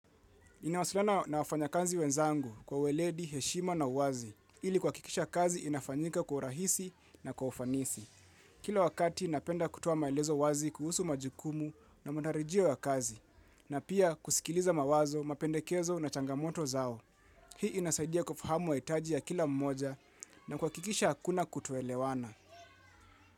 Inawasiliana na wafanyakazi wenzangu kwa weledi, heshima na wazi, ili kuhakikisha kazi inafanyika kwa urahisi na kwa ufanisi. Kila wakati, napenda kutoa maelezo wazi kuhusu majukumu na matarajio ya kazi, na pia kusikiliza mawazo, mapendekezo na changamoto zao. Hii inasaidia kufahamu mahitaji ya kila mmoja na kuhakikisha hakuna kutoelewana.